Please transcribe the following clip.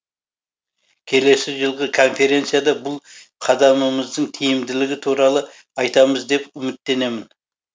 келесі жылғы конференцияда бұл қадамымыздың тиімділігі туралы айтамыз деп үміттенемін